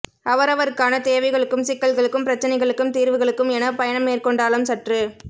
அவரவர்க்கான தேவைகளுக்கும் சிக்கல்களுக்கும் பிரச்சினைகளுக்கும தீர்வுகளுக்கும் எனப் பயணம் மேற்கொண்டாலும் சற்று